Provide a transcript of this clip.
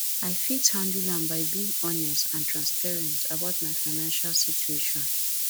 i fit handle am by being honest and transparent about my financial situation